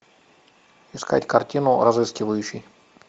искать картину разыскивающий